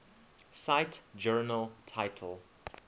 cite journal title